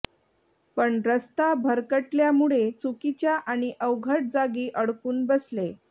पण रस्ता भरकटल्यामुळे चुकीच्या आणि अवघड जागी अडकून बसले